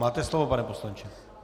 Máte slovo, pane poslanče.